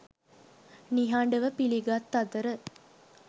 නිහඬව පිළිගත් අතර